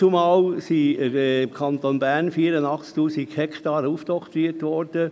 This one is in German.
Dem Kanton Bern wur den damals 84 000 Hektaren aufoktroyiert.